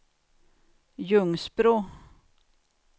Ljungsbro